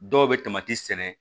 Dɔw bɛ sɛnɛ